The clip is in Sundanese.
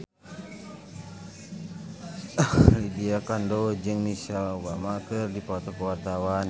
Lydia Kandou jeung Michelle Obama keur dipoto ku wartawan